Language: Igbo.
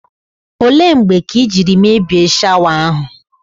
Ole mgbe ka i jiri mebie shawa ahụ?